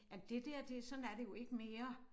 Jamen det der det sådan er det jo ikke mere